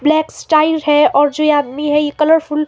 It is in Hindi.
ब्लैक्स टाइल है और जो ये आदमी है ये कलरफुल --